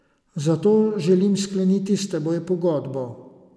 Zato želim skleniti s teboj pogodbo.